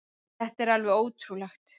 Þetta er alveg ótrúlegt.